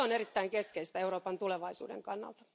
Se on erittäin keskeistä Euroopan tulevaisuuden kannalta.